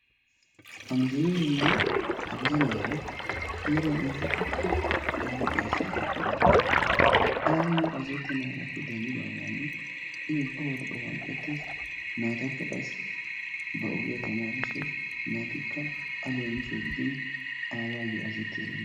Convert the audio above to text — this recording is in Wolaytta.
Ha mishireeranne ha bitaniyaara heeran aydekka caabbuwaa xayssi erokkona. a ayoo azzazetenaagappe denddidaagan i ubba wode o hanqqetees. naataka qaassi ba ogiyaa tamarissawus. naatikka a leemiso giidin aawayoo azazzetti erenna.